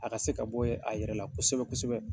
A ka se ka bɔ a yɛrɛ la kosɛbɛ kosɛbɛ